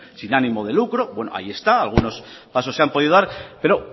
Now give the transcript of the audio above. sin ánimo de lucro bueno ahí está algunos pasos se han podido dar pero